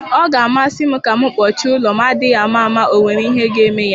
Ọ ga-amasị m ka m kpuchie ụlo m, adịghị ama ama ọ nwere ihe ga-eme ya.